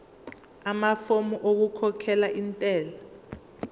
amafomu okukhokhela intela